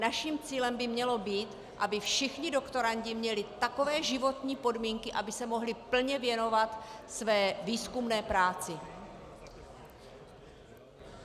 Naším cílem by mělo být, aby všichni doktorandi měli takové životní podmínky, aby se mohli plně věnovat své výzkumné práci.